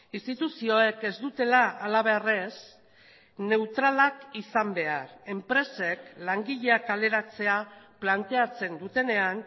instituzioek ez dutela halabeharrez neutralak izan behar enpresek langileak kaleratzea planteatzen dutenean